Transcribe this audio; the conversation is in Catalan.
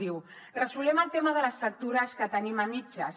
diu resolem el tema de les factures que tenim a mitges